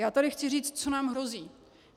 Já tady chci říct, co nám hrozí.